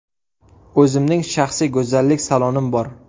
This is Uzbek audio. O‘zimning shaxsiy go‘zallik salonim bor.